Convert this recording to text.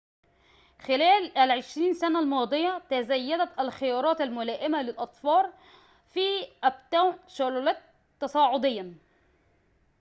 خلال ال20 سنة الماضية تزايدت الخيارات الملائمة للأطفال في أبتاون شارلوت تصاعديّاً